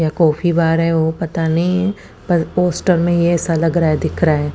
ये coffee bar है ओ पता नही पर पोस्टर में ऐसा लग रहा है दिख रहा है।